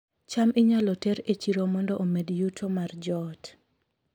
cham inyalo ter e chiro mondo omed yuto mar joot